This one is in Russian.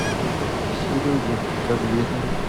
сереге давлетову